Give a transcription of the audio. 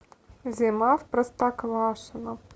зима в простоквашино